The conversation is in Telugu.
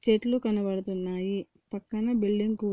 చెట్లు కనపడుతున్నాయి. పక్కన బిల్డింగ్ కూడా--